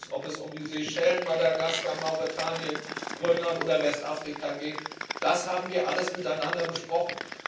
Ob es um die Seychellen, Madagaskar, Mauretanien, Grönland oder Westafrika geht Das haben wir alles miteinander besprochen.